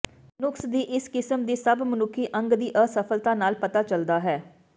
ਨੁਕਸ ਦੀ ਇਸ ਕਿਸਮ ਦੀ ਸਭ ਮਨੁੱਖੀ ਅੰਗ ਦੀ ਅਸਫਲਤਾ ਨਾਲ ਪਤਾ ਚੱਲਦਾ ਹੈ